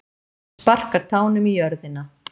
Sparkar tánum í jörðina.